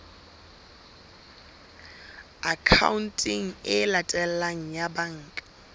akhaonteng e latelang ya banka